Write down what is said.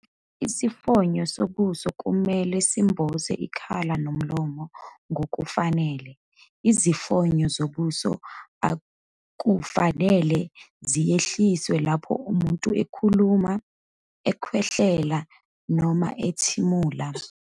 Isifonyo sobuso kumele semboze ikhala nomlomo ngokuphelele. Izifonyo zobuso akufanele zehliswe lapho umuntu ekhuluma, ekhwehlela noma ethimula.